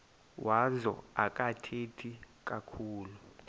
wazo akathethi kakhulu